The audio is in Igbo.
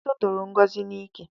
Otiti toro Ngozi n'ike